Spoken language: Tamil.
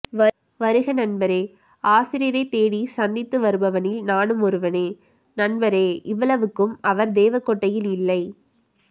வருக நண்பரே ஆசிரியரைத்தேடி சந்தித்து வருபவனில் நானும் ஒருவனே நண்பரே இவ்வளவுக்கும் அவர் தேவகோட்டை இல்லை